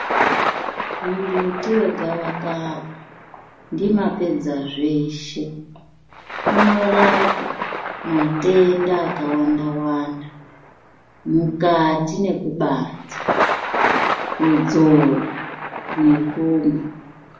Mumbuti wegavakava ndimapedza zveshe unorapa matenda akawanda-wanda, mukati nekubanze, kudzora nekumwa.